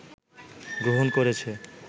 গ্রহণ করেছে